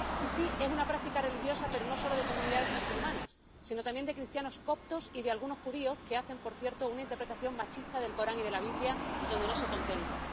Y, sí, es una práctica religiosa, pero no solo de comunidades musulmanas, sino también de cristianos coptos y de algunos judíos que hacen, por cierto, una interpretación machista del Corán y de la Biblia, donde no se contempla.